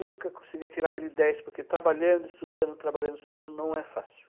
Nunca conseguia tirar aquele dez, porque trabalhando, estudando, trabalhando, estudando, não é fácil.